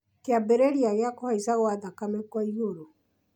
kĩambĩrĩria gĩa kũhaica gwa thakame kwa igũrũ